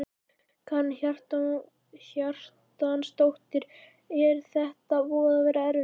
Karen Kjartansdóttir: Er þetta búið að vera erfitt?